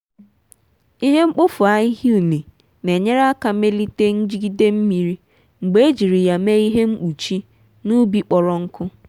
ihe mkpofu ahịhịa ụne n'enyere aka melite njigide mmiri mgbe ejiri ya mee ihe mkpuchi n'ubi kpọrọ nkụ.